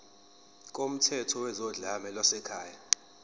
kumthetho wezodlame lwasekhaya